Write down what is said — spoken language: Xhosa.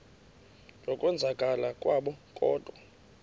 yokwenzakala kwabo kodwa